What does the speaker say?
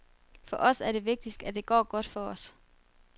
For os er det vigtigste, at det går godt for os.